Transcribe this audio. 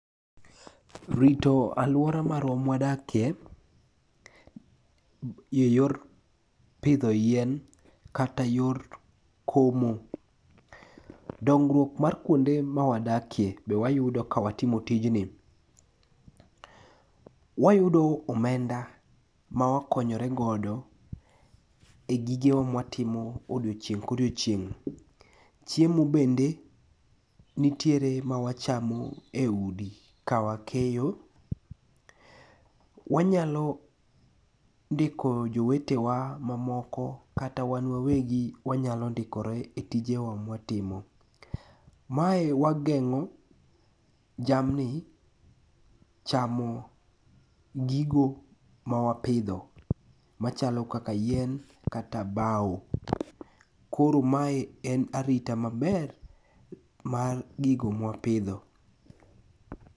Rito alwora marwa mawadakie, e yor pidho yien kata yor komo. Dongruok mar kuonde ma wadakie, be wayudo ka watimo tijni. Wayudo omenda ma wakonyore godo e gige wa mawatimo e odiechieng' ka odiechieng'. Chiemo bende nitiere ma wachamo e udi kawakeyo. Wanyalo ndiko jowetewa mamoko kata wan wawegi wanyalo ndikore e tijewa ma watimo. Mae wageng'o jamni chamo gigo mawapidho. Machalo kaka yien kata bao. Koro mae en arita maber mar gigo ma wapidho.